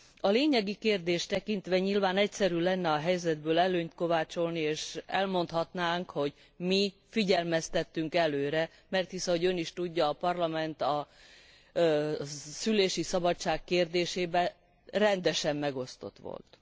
A lényegi kérdést tekintve nyilván egyszerű lenne a helyzetből előnyt kovácsolni és elmondhatnánk, hogy mi figyelmeztettünk előre mert hisz ahogy Ön is tudja a Parlament a szülési szabadság kérdésében rendesen megosztott volt.